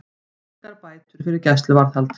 Engar bætur fyrir gæsluvarðhald